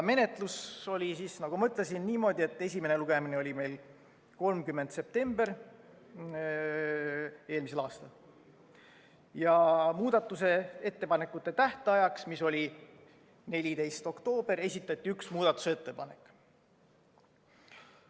Menetlus oli siis, nagu ma ütlesin, niimoodi, et esimene lugemine oli meil 30. septembril eelmisel aastal ja muudatusettepanekute esitamise tähtajaks, mis oli 14. oktoobril, esitati üks muudatusettepanek.